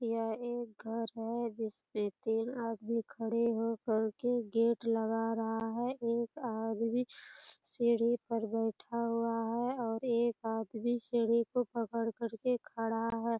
यह एक घर है जिसमें तीन आदमी खड़े हो कर के गेट लगा रहा है एक आदमी सीढ़ी पर बैठा हुआ है और एक आदमी सीढ़ी को पकड़ करके खड़ा है।